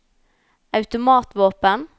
automatvåpen